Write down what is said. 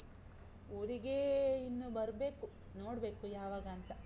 ಊರಿಗೇ ಇನ್ನು ಬರ್ಬೇಕು, ನೋಡ್ಬೇಕು, ಯಾವಗಾಂತ?